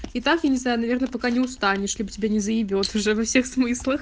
итак я не знаю наверное пока не устанешь чтобы тебя не заебёт уже всех смыслах